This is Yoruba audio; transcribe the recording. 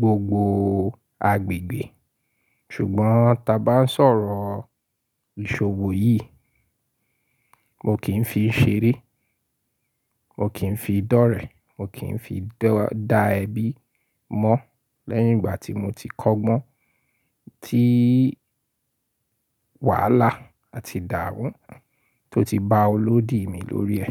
gbogbo agbègbè. Ṣùgbọ́n ta bá ń sọ̀rọ̀ ìṣòwò yìí, mo kì ń fi ṣeré, mo kì ń fi dọ́rẹ̀, mo kì ń fi dá ẹbí mọ́ lẹ́yìn ìgbà tí mo ti kọ́gbọ́n, tí wàhálà àti ìdáamu tó ti ba olódi mi lórí ẹ.